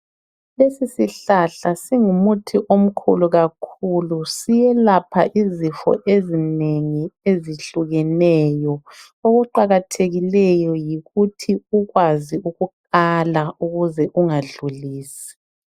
Lesi sihlahla singumuthi omkhulu kakhulu siyelapha izifo ezinengi ezihlukeneyo. Okuqakathekileyo yikuthi ukwazi ukukala ukuze ungadlulisi.